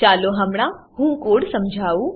ચાલો હમણાં હું કોડ સમજાવું